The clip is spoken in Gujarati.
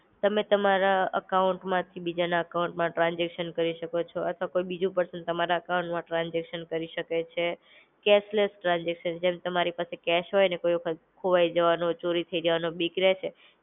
તમે તમારા અકાઉન્ટ માંથી બીજાના અકાઉન્ટમાં ટ્રાન્સઝેકશન કરી શકો છો. અથવા કોઈ બીજું પર્સન તમારા અકાઉન્ટમાં ટ્રાન્સઝેકશન કરી શકે છે. કેશલેસ ટ્રાન્સઝેકશન જેમ તમારી પાસે કેશ હોયને કોઈ વખત, ખોવાઈ જવાનો, ચોરી થવાનો બીક રેસે.